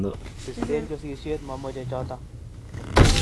bisten chosisyet momeche choto!